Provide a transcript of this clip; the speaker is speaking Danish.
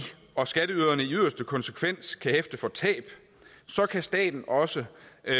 og skatteyderne i yderste konsekvens kan hæfte for tab kan staten også